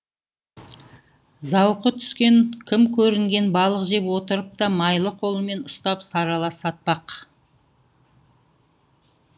зауқы түскен кім көрінген балық жеп отырып та майлы қолымен ұстап сарала сатпақ